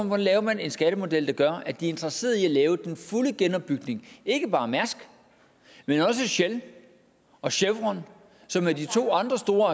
man laver en skattemodel der gør at de er interesseret i at lave den fulde genopbygning ikke bare mærsk men også shell og chevron som er de to andre store